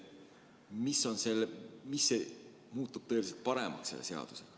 Mis muutub selle seadusega tõeliselt paremaks?